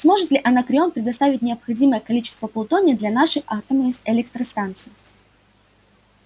сможет ли анакреон предоставить необходимое количество плутония для нашей атомной электростанции